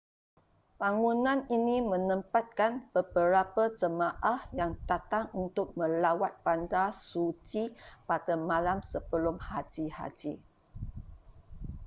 bangunan ini menempatkan beberapa jemaah yang datang untuk melawat bandar suci pada malam sebelum haji haji